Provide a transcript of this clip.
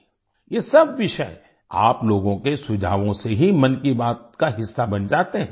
ये सब विषय आप लोगों के सुझावों से ही मन की बात का हिस्सा बन जाते हैं